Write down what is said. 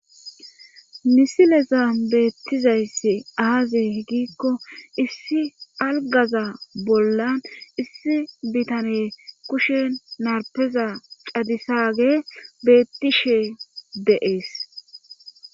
Misileza beettizayssi aaze hgikko issi algaza bollan issi bitane kushe narpeza cadisaage beettishee deees.